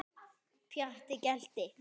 Pjatti gelti.